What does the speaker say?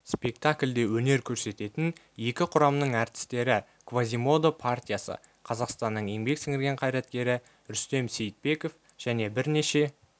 спектакльде өнер көрсететін екі құрамның әртістері квазимодо партиясы қазақстанның еңбек сіңірген қайраткері рүстем сейітбеков және бірнеше